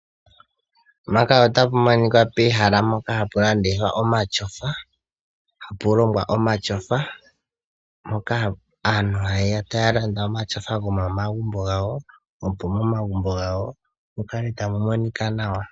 Ehala poka hapu landithwa omatyofa, hapulongwa omatyofa , poka aantu hayeya tayalanda omatyofa gomomagumbo ngawo , opo momagumbo ngawo mukale tamumonika nawa.